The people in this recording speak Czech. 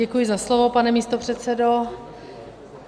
Děkuji za slovo, pane místopředsedo.